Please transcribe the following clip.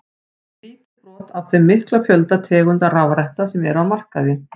Lítið brot af þeim mikla fjölda tegunda rafretta sem eru á markaði.